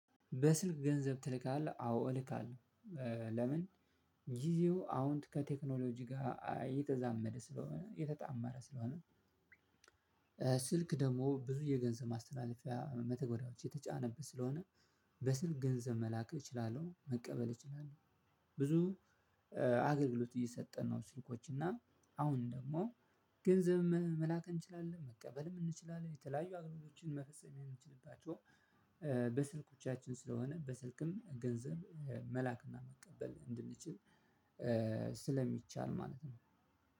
በስልክ ገንዘብ ትልካለህ? አዎ እልካለው እ ለምን? ጊዜው አሁን ከቴክኖሎጂ ጋር እየተዛመደ ስለሆነ እየተጣመረ ስለሆነ። ስልክ ደግሞ ብዙ የገንዘብ ማስተላለፊያ መተግበሪያዎች የተጫነበት ስለሆነ በስልክ ገንዘብ መላክ እችላለው መቀበልም እችላለው። ብዙ አገልግሎት እየሰጠን ነው። ስልኮች እና አሁን ደሞ ገንዘብ መላክ እንችላለን መቀበልም እንችላለን የተለያዩ አገልግሎቶች መፈጸም የምንችልባቸው። በስልኮቻችን ስለሆነ በስልክም ገንዘብ መላክና መቀበል እንድንችል ስለሚቻል ማለት ነው።